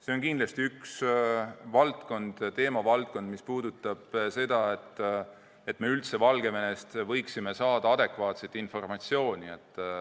See on kindlasti üks teemavaldkond, mis puudutab seda, et me üldse Valgevenest võiksime saada adekvaatset informatsiooni.